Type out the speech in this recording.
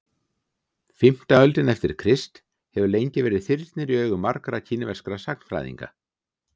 fimmta öldin eftir krist hefur lengi verið þyrnir í augum margra kínverskra sagnfræðinga